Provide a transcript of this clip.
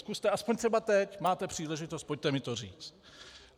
Zkuste aspoň třeba teď, máte příležitost, pojďte mi to říct.